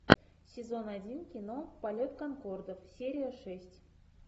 сезон один кино полет конкордов серия шесть